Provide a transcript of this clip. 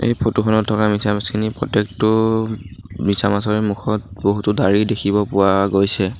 ফটোখনত থকা মিছামাছখিনিৰ প্ৰত্যেকটো মিছামাছৰে মুখত বহুতো দাড়ি দেখিব পোৱা গৈছে।